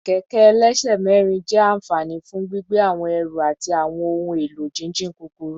Kẹkẹ ẹlẹsẹ mẹrin jẹ anfani fun gbigbe awọn ẹru ati awọn ohun elo jijin kukuru